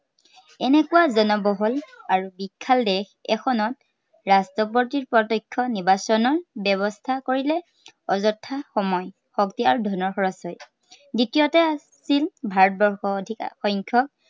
এনেকুৱা জনবহুল আৰু বিশাল দেশ এখনত ৰাষ্ট্ৰপতিৰ প্ৰত্য়ক্ষ নিৰ্বাচনৰ ব্য়ৱস্থা কৰিলে অযথা সময়, শক্তি আৰু ধনৰ খৰচ হয়। দ্বিতীয়তে আছিল ভাৰতবৰ্ষৰ অধিক সংখ্য়ক